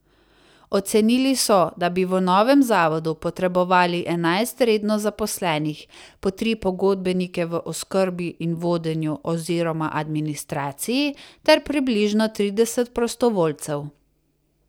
Ocenili so, da bi v novem zavodu potrebovali enajst redno zaposlenih, po tri pogodbenike v oskrbi in vodenju oziroma administraciji ter približno trideset prostovoljcev.